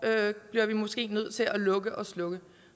måske bliver nødt til at lukke og slukke